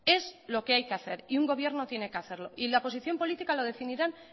es lo que hay hacer y un gobierno tiene que hacerlo y la posición política lo definirán